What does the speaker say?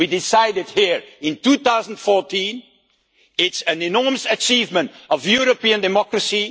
We decided here in 2014 that it is an enormous achievement of European democracy.